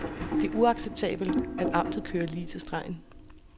Det er uacceptabelt, at amtet kører lige til stregen.